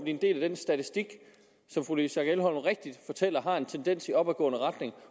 en del af den statistik som fru louise schack elholm rigtigt fortæller har en tendens i opadgående retning